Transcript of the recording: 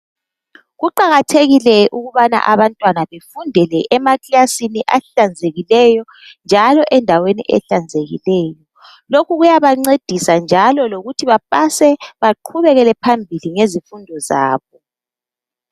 Kuqakathekile ukubaba abantwana befundele emaklasini ahlanzekileyo, njalo endaweni ehlanzekileyo, lokhu kuyabancedisa njalo lokuthi bapase, baqhubekele phambili ngezifundo zabo.